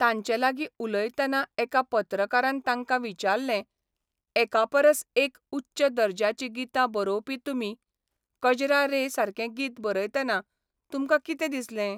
तांचे लागीं उलयतना एका पत्रकारान तांकां विचारलें एकापरस एक उच्च दर्ज्याचीं गितां बरोवपी तुमी, 'कजरा रे 'सारकें गीत बरयतना तुमकां कितें दिसलें?